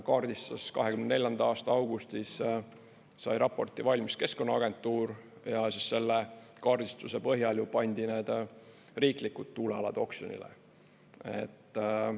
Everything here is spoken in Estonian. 2024. aasta augustis sai raporti valmis Keskkonnaagentuur ja selle kaardistuse põhjal pandi need riiklikud tuulealad oksjonile.